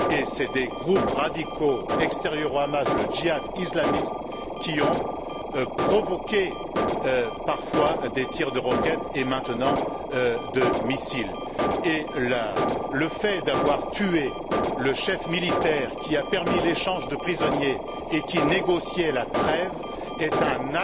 Ce sont des groupes radicaux extérieurs au Hamas, le Jihad islamique, qui ont provoqué parfois des tirs de roquettes et, maintenant, de missiles. Le fait d'avoir tué le chef militaire qui a permis l'échange de prisonniers et qui négociait la trêve est un